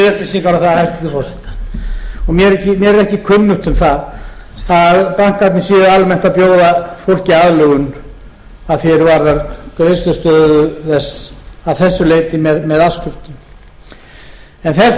upplýsingar um það hæstvirtur forseti og mér er ekki kunnugt um það að bankarnir séu almennt að bjóða fólki aðlögun að því er varðar greiðslustöðu þess að þessu leyti með afskriftum þessi þáttur